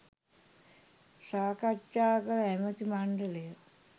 සාකච්ඡා කළ ඇමති මණ්ඩලය